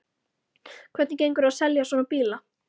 Hvernig gengur að selja svona bíla?